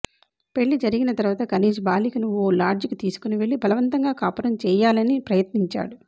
పెళ్లి జరిగిన తర్వాత కనీజ్ బాలికను ఓ లాడ్జికి తీసుకుని వెళ్లి బలవంతంగా కాపురం చేయాలని ప్రయత్నించాడు